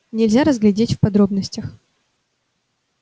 нельзя разглядеть в подробностях